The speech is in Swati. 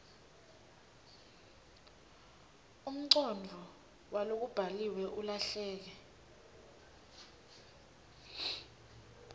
umcondvo walokubhaliwe ulahleke